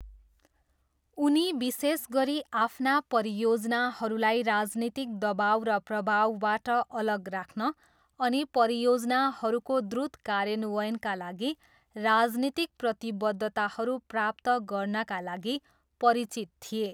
उनी विशेष गरी आफ्ना परियोजनाहरूलाई राजनीतिक दबाउ र प्रभावबाट अलग राख्न अनि परियोजनाहरूको द्रुत कार्यान्वयनका लागि राजनीतिक प्रतिबद्धताहरू प्राप्त गर्नाका लागि परिचित थिए।